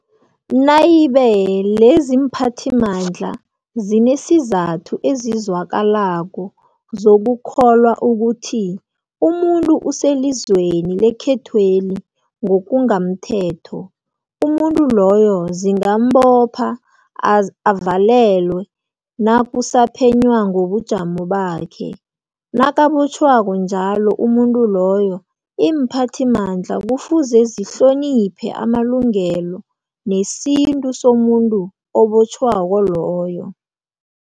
Nayibe leziimphathimandla zinesizathu esizwakalako sokukholwa ukuthi umuntu uselizweni lekhethweli ngokungamthetho, umuntu loyo zingambopha avalelwe nakusaphenywa ngobujamo bakhe. Nakabotjhwako njalo umuntu loyo, iimphathimandla kufuze zihloniphe amalungelo nesithunzi somuntu obotjhwako loyo.